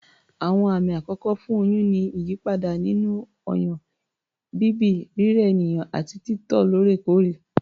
Àwọn àmì àkọ́kọ́ fún oyún ni ìyípadà nínú ọyàn, bíbì, rírẹ ènìyàn àti títọ̀ lóòrèkóòrè